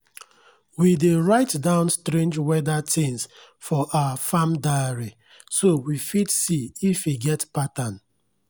last year flood carry my beans comot so now i make my farm ridges high well-well.